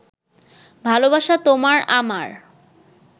ভালোবাসা তোমার আমার